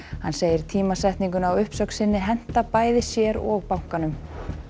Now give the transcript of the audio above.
hann segir tímasetninguna á uppsögn sinni henta bæði sér og bankanum